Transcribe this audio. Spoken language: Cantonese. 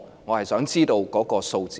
我想知道數字。